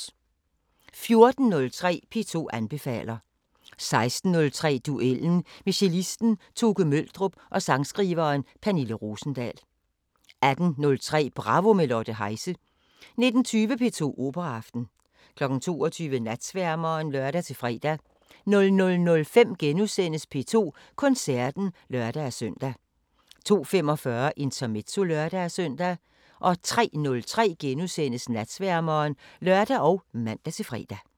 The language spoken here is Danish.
14:03: P2 anbefaler 16:03: Duellen med cellisten Toke Møldrup og sangskriveren Pernille Rosendahl 18:03: Bravo – med Lotte Heise 19:20: P2 Operaaften 22:00: Natsværmeren (lør-fre) 00:05: P2 Koncerten *(lør-søn) 02:45: Intermezzo (lør-søn) 03:03: Natsværmeren *(lør og man-fre)